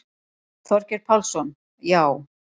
Þorgeir Pálsson: Já.